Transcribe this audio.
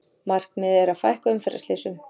Markmiðið að fækka umferðarslysum